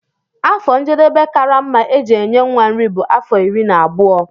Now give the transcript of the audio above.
Afọ njedebe karama eji enye nwa nri bu afọ iri na abụọ.